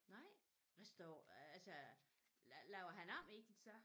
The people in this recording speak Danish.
Nej hvad står øh altså laver han om i det så?